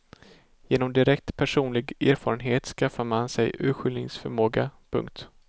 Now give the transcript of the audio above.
Genom direkt personlig erfarenhet skaffar man sig urskiljningsförmåga. punkt